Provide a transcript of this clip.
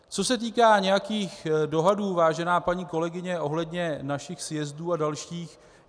Co se týká nějakých dohadů, vážená paní kolegyně, ohledně našich sjezdů a dalších.